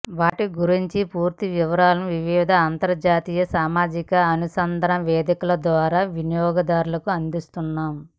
వాటి గురించిన పూర్తి వివరాలను వివిధ అంతర్జాల సామాజిక అనుసంధాన వేదికల ద్వారానే వినియోగదారులకు అందిస్తున్నాం